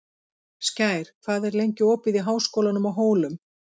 Skær, hvað er lengi opið í Háskólanum á Hólum?